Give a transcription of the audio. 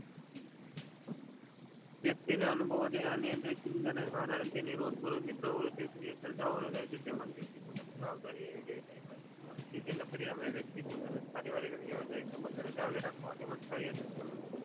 વક્તિ ને અનુસરવા થી અનુમતિ ચિંતા ને કારણે તેની રોજ બરોજ ની કાર્ય વહી જાળવી રાખવા તેમજ વક્તિ ને પોતાની જવાબદારી કાર્યવાહી સબંધો ને જાળવી રાખે.